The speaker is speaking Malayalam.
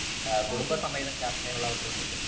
ആ കുടുംബസമേതം യാത്ര ചെയ്യാനുള്ള അവസരവും കിട്ടും .